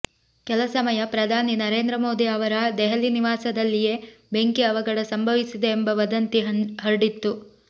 ಕೆಲ ಸಮಯ ಪ್ರಧಾನಿ ನರೇಂದ್ರ ಮೋದಿ ಅವರ ದೆಹಲಿ ನಿವಾಸದಲ್ಲಿಯೇ ಬೆಂಕಿ ಅವಘಡ ಸಂಭವಿಸಿದೆ ಎಂಬ ವದಂತಿ ಹರಡಿತ್ತು